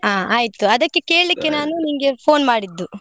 ಹಾ ಆಯ್ತು ಅದಕ್ಕೆ ಕೇಳಿಕ್ಕೆ phone ಮಾಡಿದ್ದು.